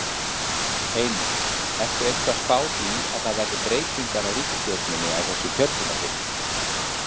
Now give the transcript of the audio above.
Heimir: Ertu eitthvað að spá því að það verði breytingar á ríkisstjórninni á þessu kjörtímabili?